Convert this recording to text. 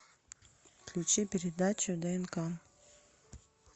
включи передачу днк